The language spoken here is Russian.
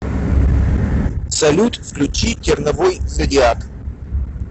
салют включи терновой зодиак